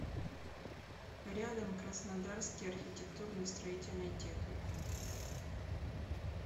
рядом краснодарский архитектурно строительный техникум